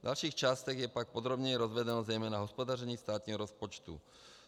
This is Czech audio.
V dalších částech je pak podrobněji rozvedeno zejména hospodaření státního rozpočtu.